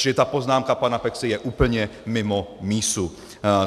Čili ta poznámka pana Peksy je úplně mimo mísu.